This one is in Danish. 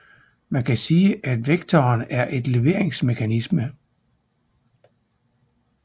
Man kan sige at vektoren er et leveringsmekanisme